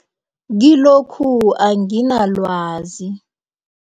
Kilokhu anginalwazi.